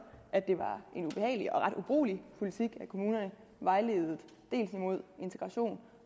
at det var en ubehagelig og ret ubrugelig politik at kommunerne vejledte dels imod integration